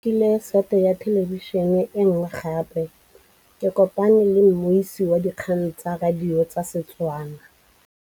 Rre o rekile sete ya thêlêbišênê e nngwe gape. Ke kopane mmuisi w dikgang tsa radio tsa Setswana.